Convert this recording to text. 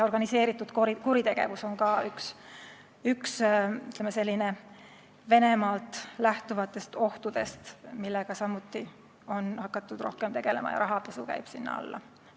Organiseeritud kuritegevus on ka üks, ütleme, Venemaalt lähtuvatest ohtudest, millega samuti on hakatud rohkem tegelema, ja rahapesu käib sinna alla.